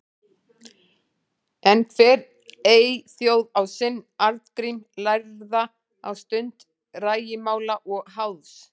En hver eyþjóð á sinn Arngrím lærða á stund rægimála og háðs.